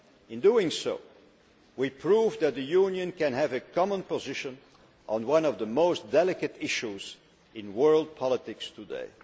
In doing so, we proved that the Union can have a common position on one of the most delicate issues in world politics today.